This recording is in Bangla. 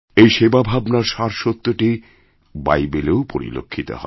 এই সেবা ভাবনার সারসত্যটিবাইবেলেও পরিলক্ষিত হয়